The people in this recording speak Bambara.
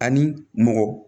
Ani mɔgɔ